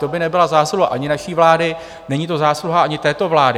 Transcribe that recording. To by nebyla zásluha ani naší vlády, není to zásluha ani této vlády.